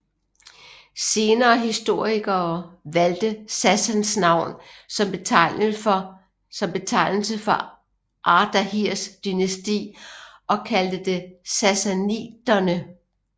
Senere historikere valgte Sassans navn som betegnelse for Ardahirs dynasti og kaldte det sassaniderne